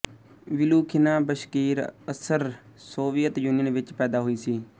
Vilukhina Bashkir ASSR Soviet Union ਵਿੱਚ ਪੈਦਾ ਹੋਈ ਸੀ